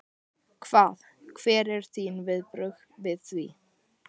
Hvað, hver eru þín viðbrögð við því?